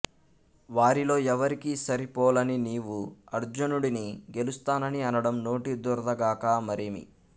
వారిలో ఎవరికీ సరి పోలని నీవు అర్జునుడిని గెలుస్తానని అనడం నోటి దురదగాక మరేమి